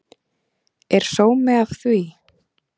Er sómi af því?